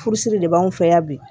Furusiri de b'anw fɛ yan bi